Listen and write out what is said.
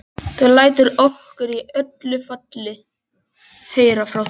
Þú lætur okkur í öllu falli heyra frá þér.